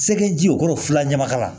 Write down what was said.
Segu ji o kɔrɔ fila ɲamakala la